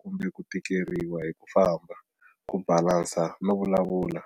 Kumbe ku tikeriwa hi ku famba, ku balansa no vulavula,